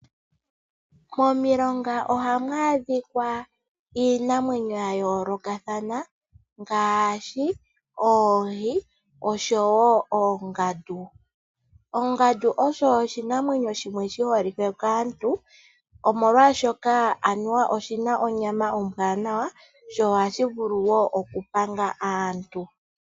Momilonga ohamu adhika iinamwenyo ya yoolokathana ngaashi oohi noshowo oongandu. Ongandu osho oshinamwenyo shi holike kaantu, molwashoka oanuwa oshi na onyama ombwanawa nohashi vulu okupanga aantu.